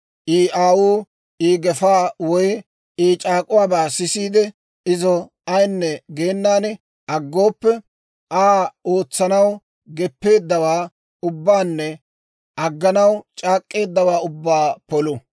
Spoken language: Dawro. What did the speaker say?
I aawuu I gefaa woy I c'aak'uwaabaa sisiide, izo ayinne geenan aggooppe, Aa ootsanaw geppeeddawaa ubbaanne agganaw c'aak'k'eeddawaa ubbaa polu.